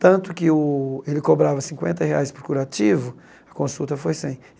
Tanto que o ele cobrava cinquenta reais por curativo, a consulta foi cem.